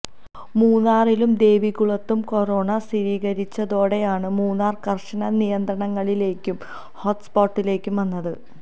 മൂന്നാറിലും ദേവികുളത്തും കൊറോണ സ്ഥിരീകരിച്ചതോടെയാണ് മൂന്നാർ കർശന നിയന്ത്രണങ്ങളിലേക്കും ഹോട്ട്സ്പോട്ടിലേക്കും വന്നത്